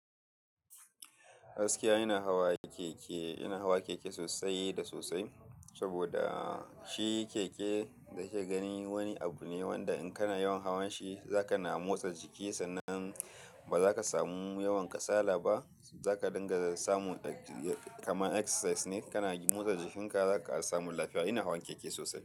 Haskiya ina hawa keke, ina hawa keke sosai da sosai. Saboda shi keke da kika gani wani abu ne wanda in kana yawan hawan shi za ka na motsa jiki sannan ba za ka samu yawan kasala ba. Za ka dainga samun kamar exercise ne. Kana motsa jikinka za ka samu lafiya. Ina hawan keke sosai.